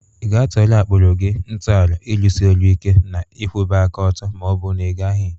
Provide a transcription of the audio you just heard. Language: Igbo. Ị ga-atọrọ akpụrụ gị ntọala ịrụsị ọrụ ike na ịkwụba aka ọtọ ma ọ bụ na ị gaghị?